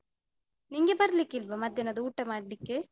ನಿಂಗೆ ಬರ್ಲಿಕ್ಕಿಲ್ವಾ ಮಧ್ಯಾನದ ಊಟ ಮಾಡ್ಲಿಕ್ಕೆ?